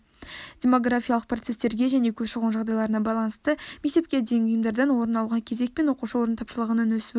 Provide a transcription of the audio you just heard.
демографиялық процестерге және көші-қон жағдайларына байланысты мектепке дейінгі ұйымдардан орын алуға кезек пен оқушы орны тапшылығының өсуі